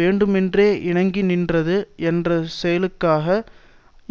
வேண்டுமென்றே இணங்கி நின்றது என்ற செயலுக்காக